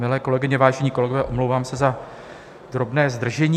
Milé kolegyně, vážení kolegové, omlouvám se za drobné zdržení